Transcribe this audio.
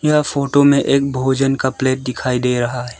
यह फोटो में एक भोजन का प्लेट दिखाई दे रहा है।